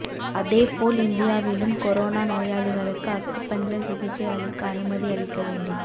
அதேபோல் இந்தியாவிலும் கொரோனா நோயாளிகளுக்கு அக்குபஞ்சர் சிகிச்சை அளிக்க அனுமதி அளிக்க வேண்டும்